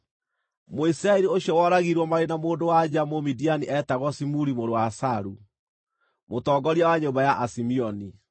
Mũisiraeli ũcio woragirwo marĩ na mũndũ-wa-nja Mũmidiani eetagwo Zimuri mũrũ wa Salu, mũtongoria wa nyũmba ya Asimeoni.